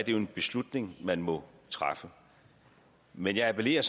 jo en beslutning man må træffe men jeg appellerer